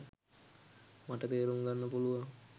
මට තේරුම් ගන්න පුළුවන්